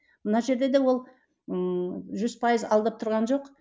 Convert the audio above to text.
мына жерде де ол ыыы жүз пайыз алдап тұрған жоқ